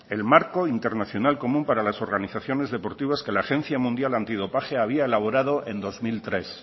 el marco internacional común para las organizaciones deportivas que la agencia mundial antidopaje había elaborado en dos mil tres